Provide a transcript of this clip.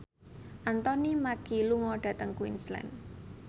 Anthony Mackie lunga dhateng Queensland